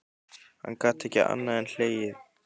Hann gat ekki annað en hlegið.